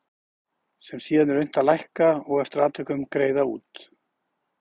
sem síðan er unnt að lækka og eftir atvikum greiða út.